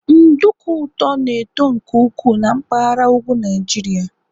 nduku ụtọ na-eto nke ukwuu na mpaghara ugwu Nijiria